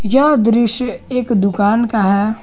यह दृश्य एक दुकान का है।